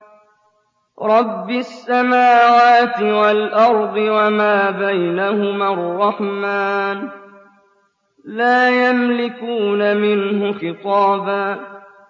رَّبِّ السَّمَاوَاتِ وَالْأَرْضِ وَمَا بَيْنَهُمَا الرَّحْمَٰنِ ۖ لَا يَمْلِكُونَ مِنْهُ خِطَابًا